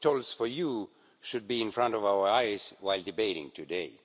it tolls for you' should be in front of our eyes while debating today.